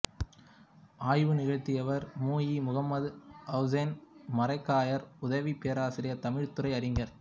ஆய்வு நிகழ்த்தியவர் மு இ முகம்மது ஹஸன் மரைக்காயர் உதவிப் பேராசிரியர் தமிழ்த்துறை அறிஞர்